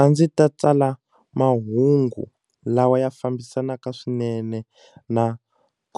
A ndzi ta tsala mahungu lawa ya fambisanaka swinene na